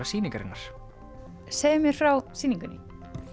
sýningarinnar segðu mér frá sýningunni